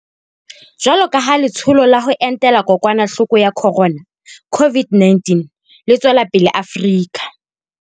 Jwalo ka ha Le tsholo la ho Entela Kokwanahloko ya Khorona, COVID-19, le tswela pele Afrika